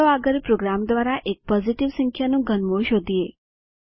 ચાલો આગળ પ્રોગ્રામ દ્વારા એક પોઝીટીવ સંખ્યાનું ઘનમૂળ શોધીએ